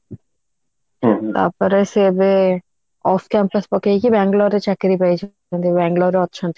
ତାପରେ ସେ ଏବେ of campus ପକେଇକି Bangalore ରେ ଚାକିରି ପାଇଛନ୍ତି Bangalore ରେ ଅଛନ୍ତି